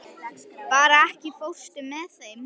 Hera, ekki fórstu með þeim?